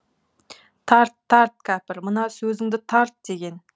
тарт тарт кәпір мына сөзіңді тарт деген